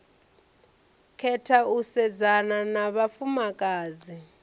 khetha u sedzana na vhafumakadzi